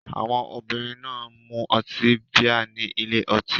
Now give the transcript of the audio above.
Àwọn obìnrin náà ń mu ọtí bíà ní ile-ọtí.